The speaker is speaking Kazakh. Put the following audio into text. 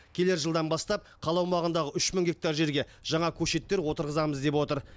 келер жылдан бастап қала аумағындағы үш мың гектар жерге жаңа көшеттер отырғызамыз деп отыр